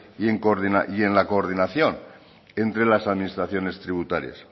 y en la coordinación entre las administraciones tributarias